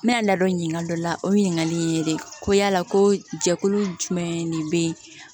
N bɛ n ladonka dɔ la o ɲininkali ye dɛ ko yala ko jɛkulu jumɛn de bɛ yen